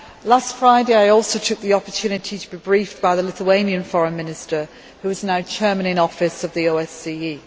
Last Friday I also took the opportunity to be briefed by the Lithuanian Foreign Minister, who is now Chairman in Office of the OSCE.